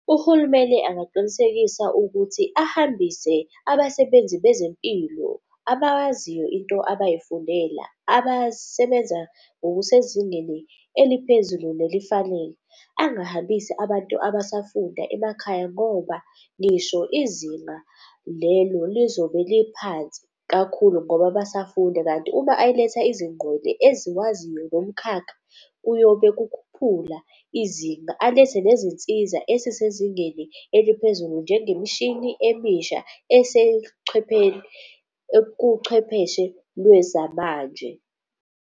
Uhulumeni angaqinisekisa ukuthi ahambise abasebenzi bezempilo abayaziyo into abayifundela, abasebenza ngokusezingeni eliphezulu nelifanele. Angahambisi abantu abasafunda emakhaya ngoba ngisho izinga lelo lizobe liphansi kakhulu ngoba basafunda. Kanti uma eletha eziwaziyo lo mkhakha kuyobe kukhuphula izinga, alethe nezinsiza ezisezingeni eliphezulu njengemishini emisha esechwepheni ekuchwepheshe lwezamanje.